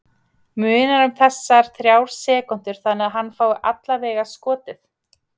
Munar um þessar þrjár sekúndur þannig að hann fái allavega skotið?